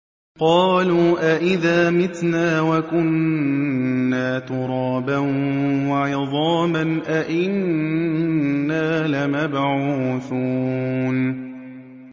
قَالُوا أَإِذَا مِتْنَا وَكُنَّا تُرَابًا وَعِظَامًا أَإِنَّا لَمَبْعُوثُونَ